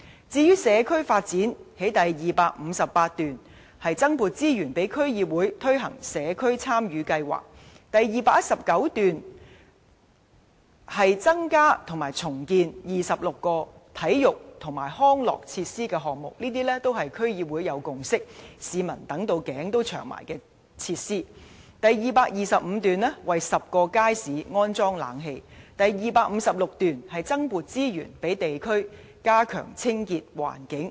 至於社區發展，第258段提出增撥資源予區議會推行"社區參與計劃"；第219段提出增建或重建26個體育及康樂設施的項目，而這些都是區議會已有共識，市民期待已久的設施；第255段提出為10個街市安裝冷氣；第256段提出增撥資源予地區加強清潔環境。